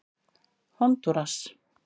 Hondúras